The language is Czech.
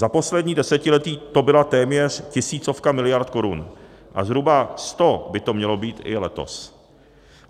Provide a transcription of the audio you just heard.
Za poslední desetiletí to byla téměř tisícovka miliard korun a zhruba 100 by to mělo být i letos.